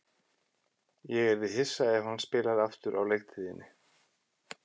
Ég yrði hissa ef hann spilar aftur á leiktíðinni.